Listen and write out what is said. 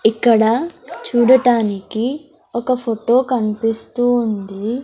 ఇక్కడ చూడటానికి ఒక ఫొటో కన్పిస్తూ ఉంది.